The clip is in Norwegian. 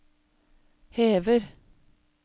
hever